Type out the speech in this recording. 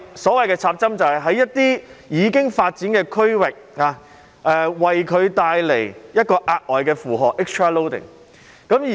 所謂"插針"，就是對已發展的區域帶來額外的負荷。